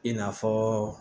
I n'a fɔ